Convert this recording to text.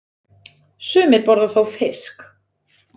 Sumir borða þó fisk.